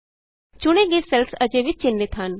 ਚੁਣੇ ਗਏ ਸੈੱਲਸ ਅਜੇ ਵੀ ਚਿੰਨ੍ਹਿਤ ਹਨ